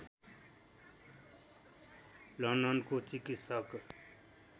लन्डनको चिकित्सक